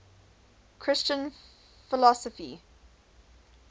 christian philosophy